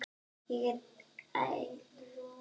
Ég er einn.